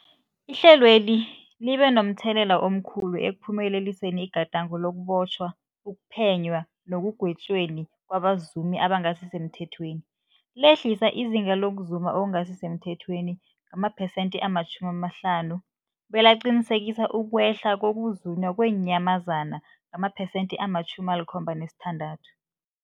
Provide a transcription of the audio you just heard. Ihlelweli libe momthelela omkhulu ekuphumeleliseni igadango lokubotjhwa, ukuphenywa nekugwetjweni kwabazumi abangasisemthethweni, lehlisa izinga lokuzuma okungasi semthethweni ngamaphesenthe-50, belaqinisekisa ukwehla kokuzunywa kweenyamazana ngamaphesenthe-76.